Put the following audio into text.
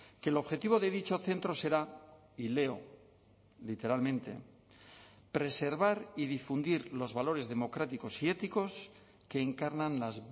que el objetivo de dicho centro será y leo literalmente preservar y difundir los valores democráticos y éticos que encarnan las